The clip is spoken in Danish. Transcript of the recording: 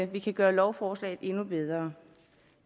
vi kan gøre lovforslaget endnu bedre